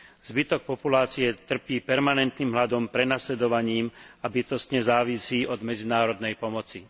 Zvyšok populácie trpí permanentným hladom, prenasledovaním a bytostne závisí od medzinárodnej pomoci.